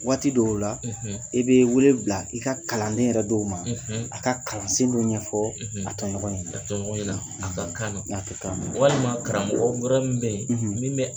Waati dɔw la, e be wele bila i ka kalanden yɛrɛ dɔw ma, , a ka kalansen dɔ ɲɛfɔ , a tɔɲɔgɔnw ɲɛna, a tɔɲɔgɔnɔ ɲɛna, a ka kan na, a ka kan na, walima karamɔgɔ wɛrɛ min bɛ yen